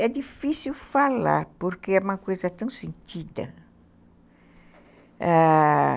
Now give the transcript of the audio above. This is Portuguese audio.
É difícil falar, porque é uma coisa tão sentida.